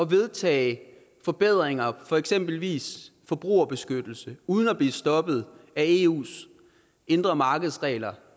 vedtage forbedringer eksempelvis i forbrugerbeskyttelsen uden at blive stoppet af eus indre marked regler